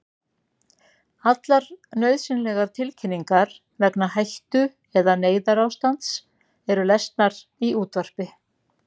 Allar nauðsynlegar tilkynningar vegna hættu- eða neyðarástands eru lesnar í útvarpi.